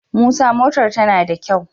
Motar musa tana da kyau